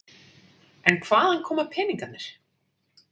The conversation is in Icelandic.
En hvaðan koma peningarnir?